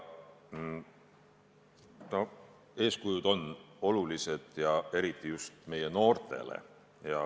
Eeskujud on olulised, seda eriti just meie noortele.